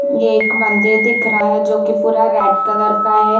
ये एक मंदिर दिख रहा है जो की पूरा रेड कलर का है।